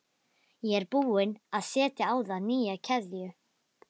Ég er búin að setja á það nýja keðju